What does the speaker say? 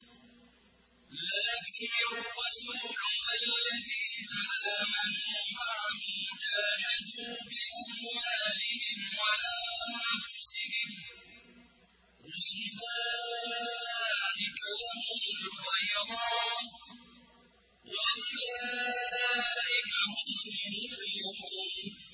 لَٰكِنِ الرَّسُولُ وَالَّذِينَ آمَنُوا مَعَهُ جَاهَدُوا بِأَمْوَالِهِمْ وَأَنفُسِهِمْ ۚ وَأُولَٰئِكَ لَهُمُ الْخَيْرَاتُ ۖ وَأُولَٰئِكَ هُمُ الْمُفْلِحُونَ